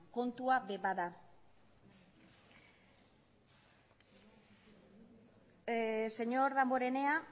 kontua ere bada señor damborenea